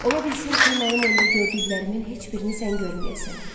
Ola bilsin ki, mənim onda gördüklərimin heç birini sən görməyəsən.